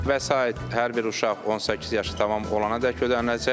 Vəsait hər bir uşaq 18 yaşı tamam olana qədər ödəniləcək.